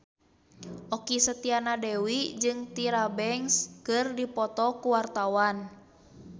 Okky Setiana Dewi jeung Tyra Banks keur dipoto ku wartawan